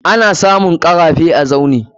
Ana samun karafe a Tsauni.